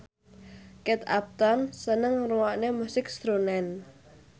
Kate Upton seneng ngrungokne musik srunen